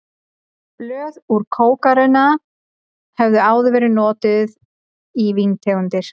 Blöð úr kókarunna höfðu áður verið notuð í víntegundir.